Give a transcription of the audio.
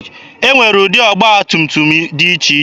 E nwere ụdị ọgba tum tum dị iche iche.